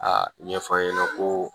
A ɲɛf'an ɲɛna ko